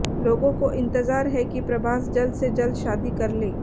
लोगों को इंतजार है कि प्रभास जल्द से जल्द शादी कर ले